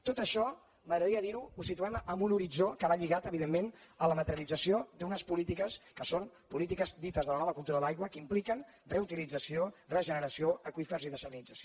tot això m’agradaria dir·ho ho situem en un horitzó que va lligat evidentment a la materialització d’unes polítiques que són polítiques dites de la nova cultura de l’aigua que impliquen reutilització regeneració aqüífers i dessalinització